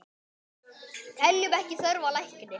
Teljum ekki þörf á lækni!